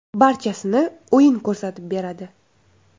Barchasini o‘yin ko‘rsatib beradi.